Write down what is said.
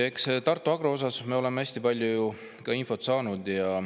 Eks me ole Tartu Agro kohta hästi palju infot saanud.